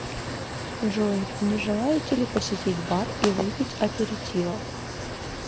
джой не желаете ли посетить бар и выпить аперитива